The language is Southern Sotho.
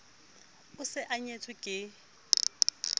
o se a nyetswe ke